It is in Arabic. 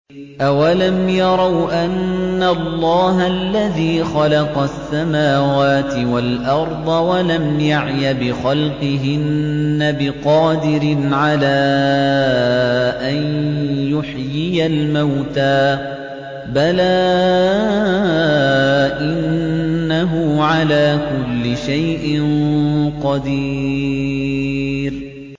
أَوَلَمْ يَرَوْا أَنَّ اللَّهَ الَّذِي خَلَقَ السَّمَاوَاتِ وَالْأَرْضَ وَلَمْ يَعْيَ بِخَلْقِهِنَّ بِقَادِرٍ عَلَىٰ أَن يُحْيِيَ الْمَوْتَىٰ ۚ بَلَىٰ إِنَّهُ عَلَىٰ كُلِّ شَيْءٍ قَدِيرٌ